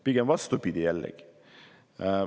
Pigem vastupidi, jällegi.